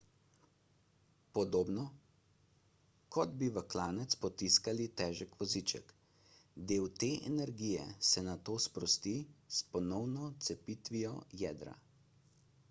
podobno kot bi v klanec potiskali težek voziček del te energije se nato sprosti s ponovno cepitvijo jedra